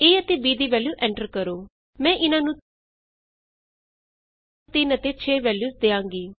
a ਅਤੇ b ਦੀ value enter ਕਰੋ ਮੈਂ ਇਹਨਾਂ ਨੂੰ 3 ਅਤੇ 6 ਵੈਲਯੂਸ ਦਿਆਂਗੀ